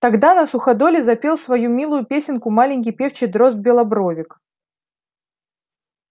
тогда на суходоле запел свою милую песенку маленький певчий дрозд-белобровик